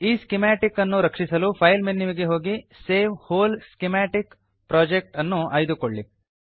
ಈ ಸ್ಕಿಮಾಟಿಕ್ ಅನ್ನು ರಕ್ಷಿಸಲು ಫೈಲ್ ಮೆನುವಿಗೆ ಹೋಗಿ ಸೇವ್ ವ್ಹೋಲ್ ಸ್ಕಿಮಾಟಿಕ್ ಪ್ರೊಜೆಕ್ಟ್ ಅನ್ನು ಆಯ್ದುಕೊಳ್ಳಿ